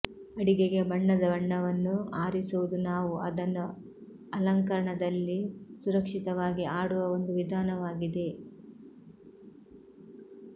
ಅಡಿಗೆಗೆ ಬಣ್ಣದ ಬಣ್ಣವನ್ನು ಆರಿಸುವುದು ನಾವು ಅದನ್ನು ಅಲಂಕರಣದಲ್ಲಿ ಸುರಕ್ಷಿತವಾಗಿ ಆಡುವ ಒಂದು ವಿಧಾನವಾಗಿದೆ